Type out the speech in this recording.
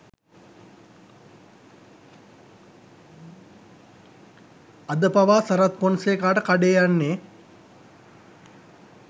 අදපවා සරත් පොන්සේකාට කඩේ යන්නේ